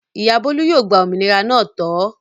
Ìyá Bólú yóò gba òmìnira náà tọ̀ ọ́.